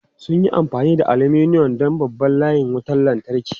Sun yi amfani da aluminum don babban layin wutar lantarki.